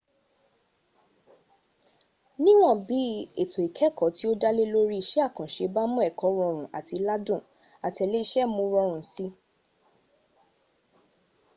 niwọn bi eto ikẹkọ ti o dalẹ lori iṣẹ akanṣe ba mu ẹkọ rọrun ati ladun atẹlẹsẹ mu u rọrun si